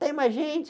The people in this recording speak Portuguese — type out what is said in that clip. Tem mais gente?